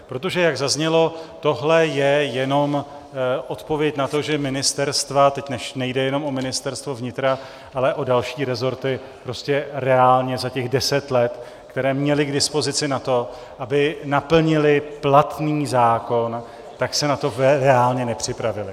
Protože jak zaznělo, tohle je jenom odpověď na to, že ministerstva - teď nejde jenom o Ministerstvo vnitra, ale o další rezorty - prostě reálně za těch deset let, které měla k dispozici na to, aby naplnila platný zákon, tak se na to reálně nepřipravila.